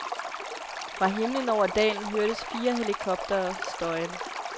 Fra himmelen over dalen hørtes fire helikoptere støjen.